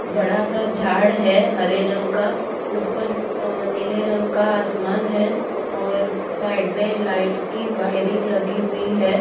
बड़ा-सा झाड़ है हरे रंग का ऊपर अ नीले रंग का आसमान है और साइड में लाइट की वायरिंग लगी हुई है।